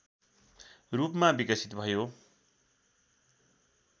रूपमा विकसित भयो